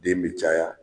Den be caya